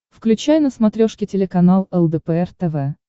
включай на смотрешке телеканал лдпр тв